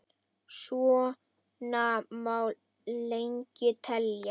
Svona má lengi telja.